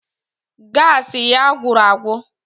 Gaasị ya gwụrụ agwụ